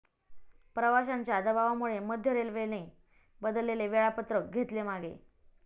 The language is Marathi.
प्रवाशांच्या दबावामुळे मध्य रेल्वेने बदलेले वेळापत्रक घेतले मागे